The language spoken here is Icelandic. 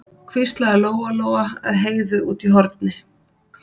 hvíslaði Lóa Lóa að Heiðu úti í horni.